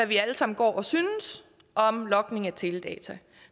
vi alle sammen går og synes om logning af teledata